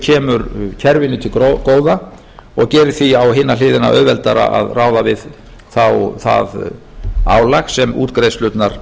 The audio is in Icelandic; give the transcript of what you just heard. kemur kerfinu til góða og gerir því að hina hliðina auðveldara að ráða við það álag sem útgreiðslurnar